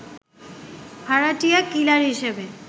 ভাড়াটিয়া কিলার হিসেবে